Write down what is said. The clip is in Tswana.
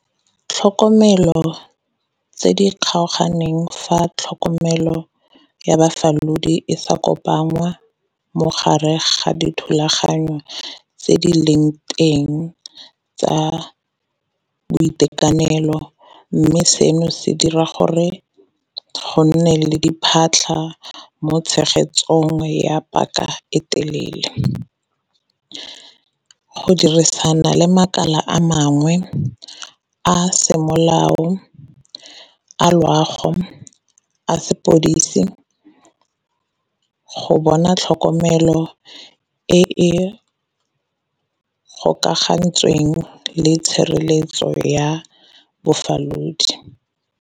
Tlhokomelo tse di kgaoganeng fa tlhokomelo ya bafalodi e sa kopangwa mogare ga dithulaganyo tse di leng nteng tsa boitekanelo, mme seno se dira gore go nne le di phatlha mo tshegetsong ya paka e telele. Go dirisana le makala a mangwe a semolao a loago a sepodisi, go bona tlhokomelo e e gokagantsweng le tshireletso ya bofalodi.